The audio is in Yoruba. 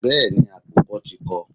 Bẹ́ẹ̀ni, àkùkọ tí kọ.